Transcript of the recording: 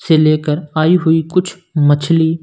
से लेकर आई हुई कुछ मछली--